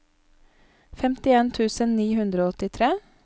femtien tusen ni hundre og åttitre